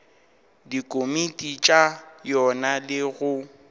dikomiti tša yona le go